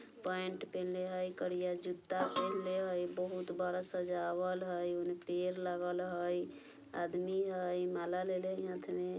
पेंट पहिनले हई करिया जुत्ता पहिनले हई बहुत बड़ा सजावल हई ओने पियर लागल हई आदमी हई माला लेले हई हाथ में।